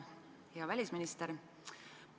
Hea välisminister!